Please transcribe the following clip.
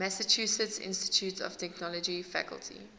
massachusetts institute of technology faculty